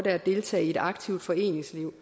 at deltage i et aktivt foreningsliv